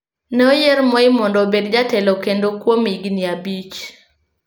Ne oyier Moi mondo obed jatelo kendo kuom higni abich.